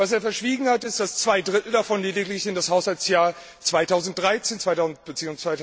Was er verschwiegen hat, ist, dass zwei Drittel davon lediglich in das Haushaltsjahr 2013 bzw.